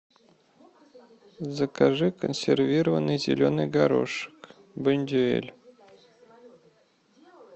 закажи консервированный зеленый горошек бондюэль